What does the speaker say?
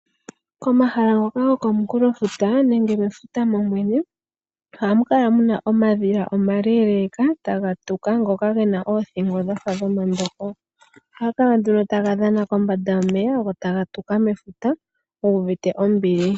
Komahala ngoka gokomukulofuta nenge mefuta lyolyene ohamu kala mu na omadhila omaleeleka taga tuka ngoka ge na oothingo dhafa dhomandongo. Ohaga kala nduno taga dhana kombanda yomeya go taga tuka mefuta gu uvite ombili.